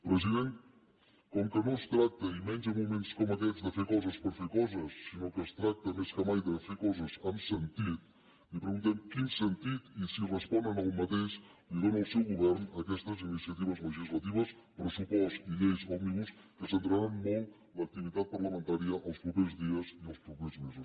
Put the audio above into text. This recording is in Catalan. president com que no es tracta i menys en moments com aquests de fer coses per fer coses sinó que es tracta més que mai de fer coses amb sentit li preguntem quin sentit i si responen a aquest dóna el seu govern a aquestes iniciatives legislatives pressupost i lleis òmnibus que centraran molt l’activitat parlamentària els propers dies i els propers mesos